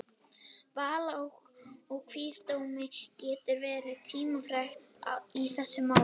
Val á kviðdómi getur því verið tímafrekt í þessum málum.